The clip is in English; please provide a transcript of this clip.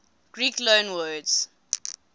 greek loanwords